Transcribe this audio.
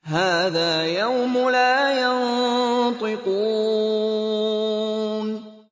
هَٰذَا يَوْمُ لَا يَنطِقُونَ